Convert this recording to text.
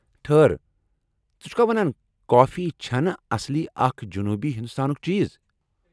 ٹھہر ! ژٕ چھُکھا ونان کافی چُھنہٕ اصلی اکھ جنوٗبی ہندوستانُک چیز؟